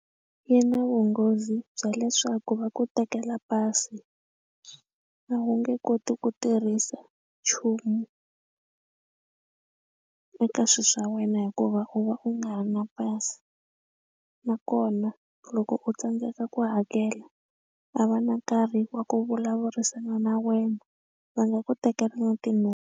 Yi na vunghozi bya leswaku va ku tekela pasi a wu nge koti ku tirhisa nchumu eka swilo swa wena hikuva u va u nga ri na pasi nakona loko u tsandzeka ku hakela a va na nkarhi wa ku vulavurisana na wena va nga ku tekela na .